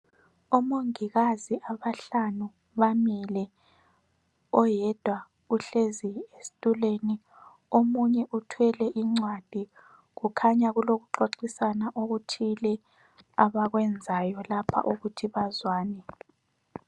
Omongokazi abahlanu bamile oyedwa uhlezi esitulweni omunye uthwele incwadi kukhanya kulokuxoxisana okuthile abakwenzayo lapho ukuthi bazwane.